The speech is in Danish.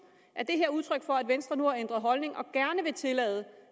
er det her udtryk for at venstre nu har ændret holdning og gerne vil tillade